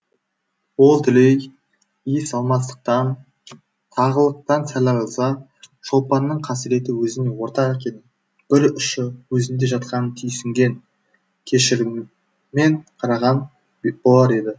ол дүлей иісалмастықтан тағылықтан сәл арылса шолпанның қасіреті өзіне ортақ екенін бір ұшы өзінде жатқанын түйсінген кешіріммен қараған болар еді